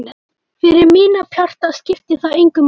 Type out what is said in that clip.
Fyrir mína parta skipti það engu máli.